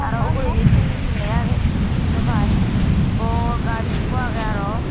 aa uguredi sini hi lega age hissu sin naw pai bor gas ekko age araw.